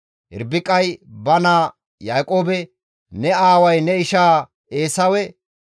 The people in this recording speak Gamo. Irbiqay ba naaza Yaaqoobe, «Ne aaway ne ishaa Eesawe,